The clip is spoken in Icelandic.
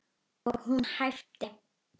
Og hún æpti.